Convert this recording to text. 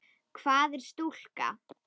Hvað er stúka?